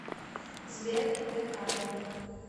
сбер декада